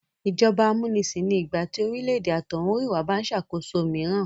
Ìjọba amúnisàn ni ìgbà tí orílè-èdè àtọ̀húnrìnwá bá ń ṣàkóso mìíràn